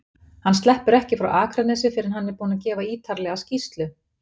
Hann sleppur ekki frá Akranesi fyrr en hann er búinn að gefa ýtarlega skýrslu.